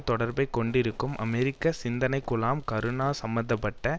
தொடர்பைக் கொண்டிருக்கும் அமெரிக்க சிந்தனைக்குழாம் கருணா சம்பந்த பட்ட